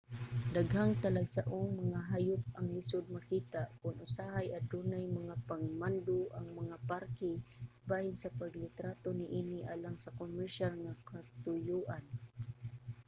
daghang talagsaong mga hayop ang lisud makita ug usahay adunay mga pagmando ang mga parke bahin sa paglitrato niini alang sa komersyal nga katuyoan